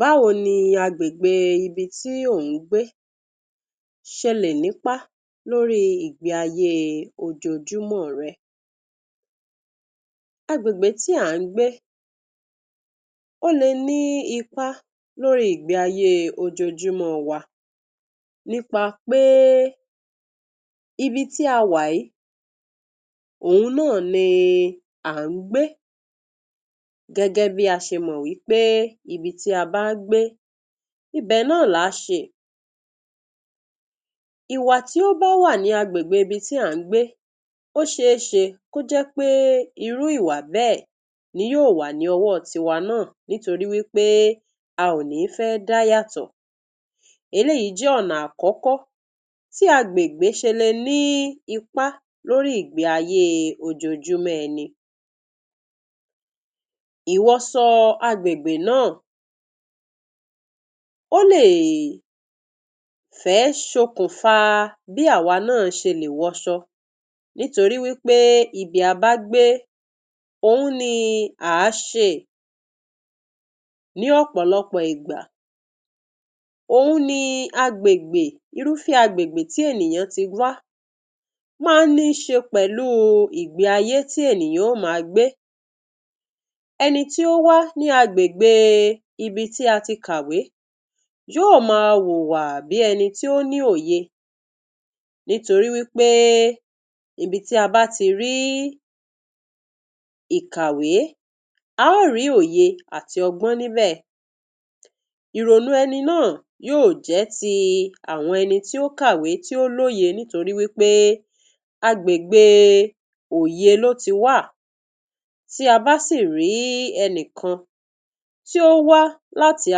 Báwo ni agbègbè ibi tí ò ń gbé s̩e lè nípá lórí ìgbé ayée ojoojúmó̩ re̩? Agbègbè tí à ń gbé, ó le ní ipá lóri ìgbé ayée ojoojúmó̩ wa nípa péé, ibi tí a wà í oun náà ni à ń gbé gé̩gé̩ bí a s̩e mò̩ wípé ibi tí a bá ń gbé, ibè̩ náà là ń s̩eè. Ìwà tí ó bá wà ní agbègbè ibi tí à ń gbé, ó s̩eés̩e kó jé̩ péé irú ìwà bé̩è̩ ni yóò wà ní o̩wó̩ tiwa náà nítorí wípé a ò ní fé̩ dá yátò̩. Eléyìí jé̩ ò̩nà àkó̩kó̩ tí agbègbè s̩e lè ní ipá lórí ìgbé ayée ojoojúmó̩ e̩ni. Ìwo̩ so̩ agbègbè náà, ó lè fé̩ se okùnfà bí àwa náà s̩e lè wo̩s̩o̩. Nítorí wípé ibi a bá gbé, ohun ni à á s̩ee. Ní ò̩pò̩lópò̩ ìgbà òhun ni agbègbè, irúfé̩ agbègbè tí ènìyàn ti wá má ní s̩e pe̩lúu ìgbé ayé tí ènìyàn yó máa gbé. Eni tí ó wá ní agbègbè ibi tí a ti kàwé, yó máa hùwà bí eni tí ó ní òye nítori wípé ibi tí a bá ti rí ìkàwé, a ó rí oye àti o̩gbó̩n níbè̩. Ìrònú eni náà yóò jé̩ ti àwo̩n eni tí ó káwèé, tí ó lóye nítorí wípé agbègbè òye ló ti wá. Tí a bá sì rí enìkan tí ó wá láti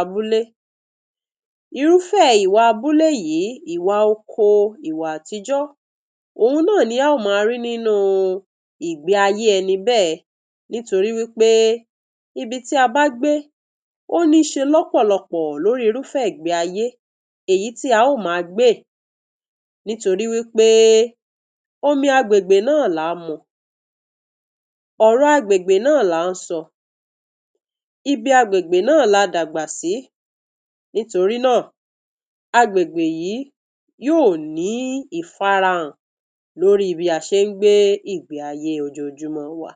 abúlé, irúfé̩ ìwà abúlé yìí, ìwà oko, ìwà àtijó̩, òhun máà ni a ó máa rí nínú igbé ayé eni bé̩è̩ nítorí wípé ibi tí a bá gbé ó ní s̩e ló̩pò̩lo̩pò̩ lórí irúfé̩ igbé ayé èyí tí a ó máa gbéè nítorí wípé omi agbègbè náà lá ń mu, ò̩rò̩ agbègbè náà là ń so̩, ibi agbègbè náà náà la dàgbà sí. Nítorí náà, agbègbè yìí yóò ní ìfarahàn lórí bí a s̩e ń gbé ìgbé ayée ojoojúmó̩ wa.